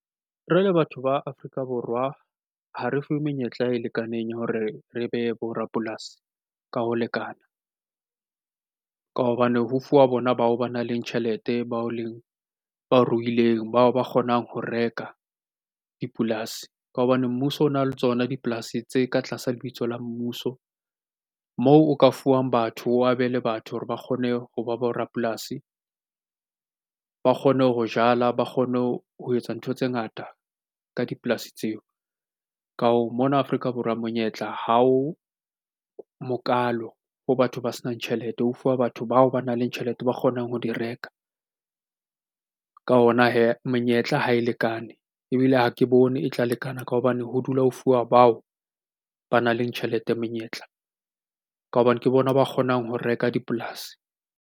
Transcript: Re le batho ba Afrika Borwa ha re fuwe menyetla e lekaneng ya hore re be bo rapolasi ka ho lekananka hobane ho fuwa bona bao ba nang le tjhelete bao leng ba ruileng bao ba kgonang ho reka dipolasi. Ka hobane mmuso o na le tsona dipolasi tse ka tlasa lebitso la mmuso moo o ka fuwang batho ho abelwe batho hore ba kgone ho ba borapolasi ba kgone ho jala ba kgone ho etsa ntho tse ngata ka dipolasi tseo. Ka hoo, mona Afrika Borwa monyetla ha o mokalo ho batho ba senang tjhelete ho fuwa batho bao ba nang le tjhelete ba kgonang ho di reka ka hona hee menyetla ha e lekane ebile ha ke bone e tla lekana ka hobane ho dula ho fuwa bao ba nang le tjhelete menyetla ka hobane ke bona ba kgonang ho reka dipolasi.